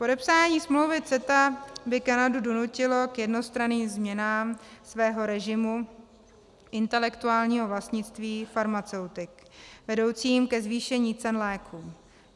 Podepsání smlouvy CETA by Kanadu donutilo k jednostranným změnám svého režimu intelektuálního vlastnictví farmaceutik, vedoucím ke zvýšení cen léků.